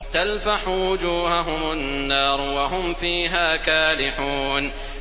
تَلْفَحُ وُجُوهَهُمُ النَّارُ وَهُمْ فِيهَا كَالِحُونَ